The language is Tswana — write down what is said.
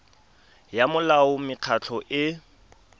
ya molao wa mekgatlho e